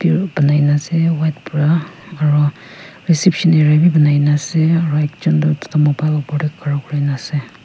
banaina ase white pra aro reception area bi banaina ase aru ekjun tu tata mobile opor teh khara kurina ase.